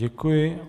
Děkuji.